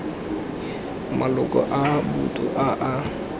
maloko a boto a a